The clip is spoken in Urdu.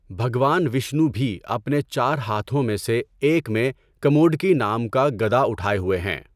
بھگوان وشنو بھی اپنے چار ہاتھوں میں سے ایک میں کموڈکی نام کا گدا اٹھائے ہوئے ہیں۔